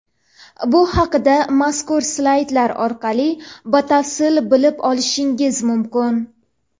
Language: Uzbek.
Bu haqida mazkur slaydlar orqali batafsil bilib olishingiz mumkin.